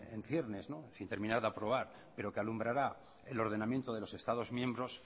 en ciernes sin terminar de aprobar pero que alumbrará el ordenamiento de los estados miembros